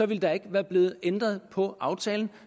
ville der ikke være blevet ændret på aftalen